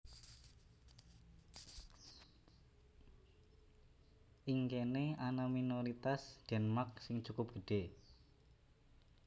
Ing kéné ana minoritas Denmark sing cukup gedhé